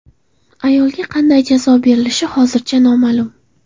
Ayolga qanday jazo berilishi hozircha noma’lum.